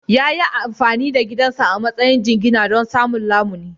Ya yi amfani da gidansa a matsayin jingina don samun lamuni.